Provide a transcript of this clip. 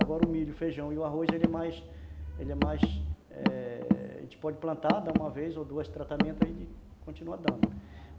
Agora o milho, feijão e o arroz, ele é mais... Ele é mais... É... A gente pode plantar, dar uma vez ou duas tratamentos, aí ele continua dando.